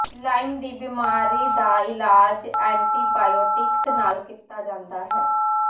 Lime ਦੀ ਬਿਮਾਰੀ ਦਾ ਇਲਾਜ ਐਂਟੀਬਾਇਓਟਿਕਸ ਨਾਲ ਕੀਤਾ ਜਾਂਦਾ ਹੈ